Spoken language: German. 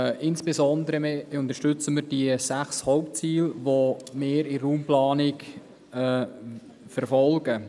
Insbesondere unterstützen wir die sechs Hauptziele, die wir in der Raumplanung verfolgen.